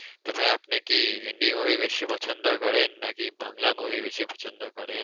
তবে আপনি কি হিন্দি movie বেশি পছন্দ করেন নাকি বাংলা movie বেশি পছন্দ করেন?